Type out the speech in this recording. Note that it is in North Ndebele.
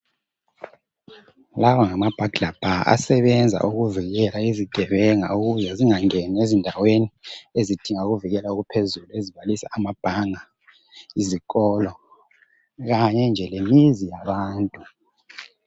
Lawa ngama burglar bar asebenza ukuvikela izigebenga ukuthi zingangeni ezindaweni ezidingwa ukuvikelwa okuphezulu ezibalisa ama bhanga , izikolo kanye nje lemizi yabantu.